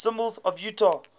symbols of utah